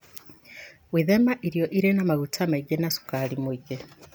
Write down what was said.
Gwĩthema irio irĩ na maguta maingĩ na cukari mũingĩ,